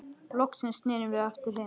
Loksins snerum við aftur heim.